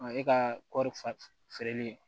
Ɔ e ka kɔɔri feereli